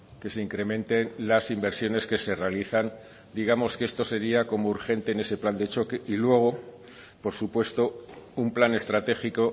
que se incrementen las inversiones que se realizan digamos que esto sería como urgente en ese plan de choque y luego por supuesto un plan estratégico